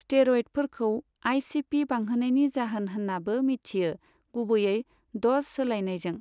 स्टेर'यडफोरखौ आइसिपि बांहोनायनि जाहोन होननाबो मिथियो, गुबैयै द'स सोलायनायजों।